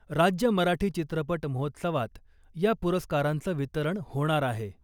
राज्य मराठी चित्रपट महोत्सवात या पुरस्कारांचं वितरण होणार आहे .